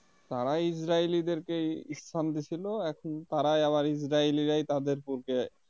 তারা Israeli দেরকে স্থান দিয়েছিল এখন তারাই আবার Israeli রাই তাদের বুকে